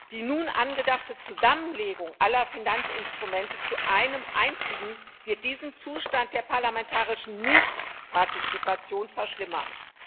Die nun angedachte Zusammenlegung aller Finanzinstrumente zu einem einzigen wird diesen Zustand der parlamentarischen Nichtpartizipation verschlimmern.